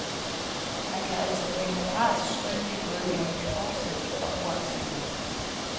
Man kan altså blive moralsk skyldig både gennem forsæt og uagtsomhed.